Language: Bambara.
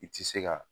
I ti se ka